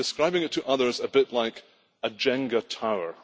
I have been describing it to others a bit like a Jenga tower.